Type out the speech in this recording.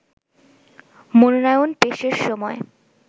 মনোনয়ন পেশের সময়